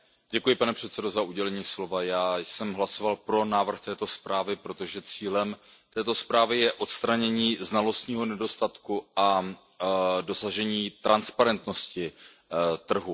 Pane předsedající, já jsem hlasoval pro návrh této zprávy, protože cílem zprávy je odstranění znalostního nedostatku a dosažení transparentnosti trhu.